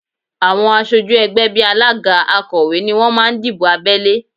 Àwọn aṣojú ẹgbẹ́ bí alága, akọ̀wé ni wọ́n máa ń dìbò abẹ́lé